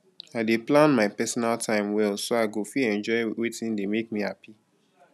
i dey plan my personal time well so i go fit enjoy wetin dey make me happy